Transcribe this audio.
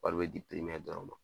Wari bɛ di dɔrɔn ma.